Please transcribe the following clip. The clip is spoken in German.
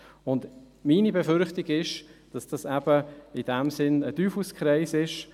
Meine Befürchtung ist, dass dies in dem Sinn ein Teufelskreist ist.